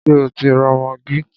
Ṣé o ti ra maggi?